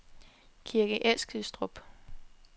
Kirke Eskilstrup